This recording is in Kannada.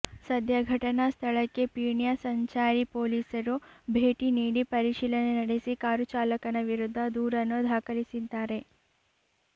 ಸದ್ಯ ಘಟನಾ ಸ್ಥಳಕ್ಕೆ ಪೀಣ್ಯಾ ಸಂಚಾರಿ ಪೊಲೀಸರು ಭೇಟಿ ನೀಡಿ ಪರಿಶೀಲನೆ ನಡೆಸಿ ಕಾರು ಚಾಲಕನ ವಿರುದ್ಧ ದೂರನ್ನು ದಾಖಲಿಸಿದ್ದಾರೆ